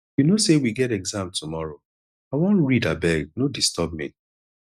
you no say we get exam tomorrow i wan read abeg no disturb me